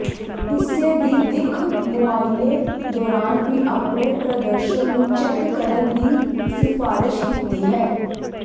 ਹਿੱਸੇ ਦੀ ਦਿੱਖ ਮੁਆਇਨੇ ਦੌਰਾਨ ਵੀ ਆਪਣੇ ਪ੍ਰਦਰਸ਼ਨ ਨੂੰ ਚੈੱਕ ਕਰਨ ਦੀ ਸਿਫਾਰਸ਼ ਕੀਤੀ ਹੈ